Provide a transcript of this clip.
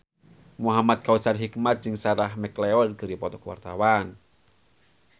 Muhamad Kautsar Hikmat jeung Sarah McLeod keur dipoto ku wartawan